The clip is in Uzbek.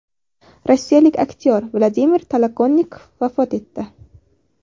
Rossiyalik aktyor Vladimir Tolokonnikov vafot etdi.